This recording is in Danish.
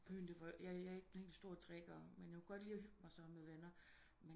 Byen det var jeg er ikke den helt store drikker men jeg kunne godt lide at hygge mig sammen med venner